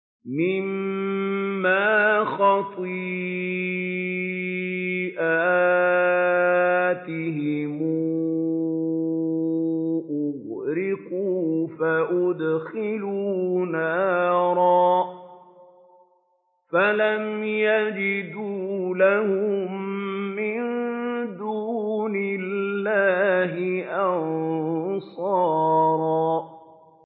مِّمَّا خَطِيئَاتِهِمْ أُغْرِقُوا فَأُدْخِلُوا نَارًا فَلَمْ يَجِدُوا لَهُم مِّن دُونِ اللَّهِ أَنصَارًا